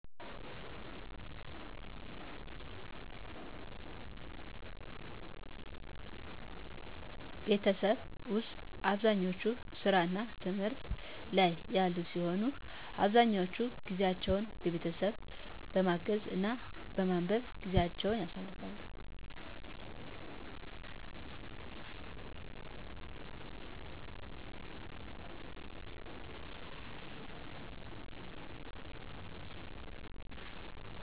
ቤተሠብ ውስጥ አብዛኛች ሥራ እና ትምህት ላይ ያሉ ሲሆን አብዛኛውን ጊዜቸውን ቤተሠብ በማገዝ እና በማንበብ ጊዜቸውን ያሳልፍሉ